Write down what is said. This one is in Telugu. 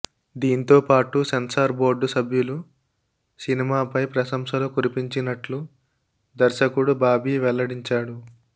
దీంతో పాటు సెన్సార్ బోర్డు సభ్యులు సినిమాపై ప్రశంసలు కురిపించినట్లు దర్శకుడు బాబీ వెల్లడించాడు